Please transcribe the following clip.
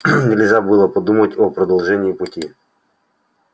нельзя было и подумать о продолжении пути